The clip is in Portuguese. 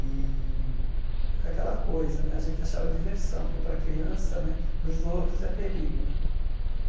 E aquela coisa, a gente achava diversão, porque para a criança né, para os outros, é perigo né.